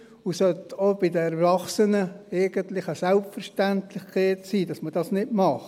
Es sollte auch bei den Erwachsenen eigentlich eine Selbstverständlichkeit sein, dass man das nicht macht.